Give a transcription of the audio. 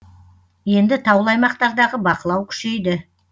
енді таулы аймақтардағы бақылау күшейді